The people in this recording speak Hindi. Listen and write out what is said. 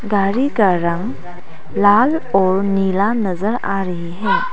गाड़ी का रंग लाल और नीला नजर आ रही है।